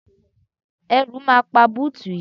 Ẹ̀rù máa pa búùtù yìí.